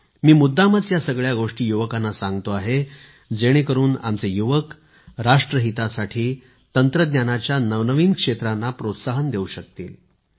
मी मुद्दामच या सगळ्या गोष्टी युवकांना सांगतो आहे जेणेकरुन आमचे युवक राष्ट्रहितासाठी तंत्रज्ञानाच्या नवनवीन क्षेत्रांना प्रोत्साहन देऊ शकतील